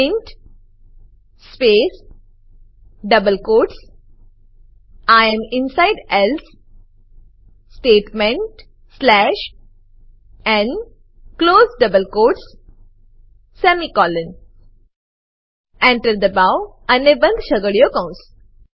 print space double quotes I am inside else statement slash n close double quotes semicolon Enter દબાવો અને બંધ છગડીયો કૌંસ